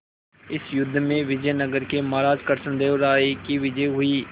इस युद्ध में विजय नगर के महाराज कृष्णदेव राय की विजय हुई